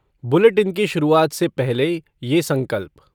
bulletin की शुरूआत से पहले ये संकल्प